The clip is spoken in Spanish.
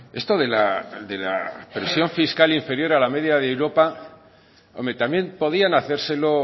esto de la presión fiscal inferior a la media de europa hombre también podían hacérselo